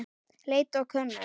Leit og könnun